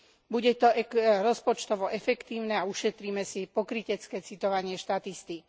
Bude to rozpočtovo efektívne a ušetríme si pokrytecké citovanie štatistík.